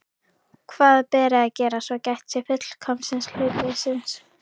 Hvað beri að gera, svo gætt sé fullkomins hlutleysis?